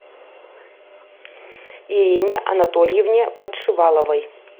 ирине анатольевне подшиваловой